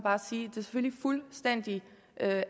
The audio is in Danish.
fuldstændig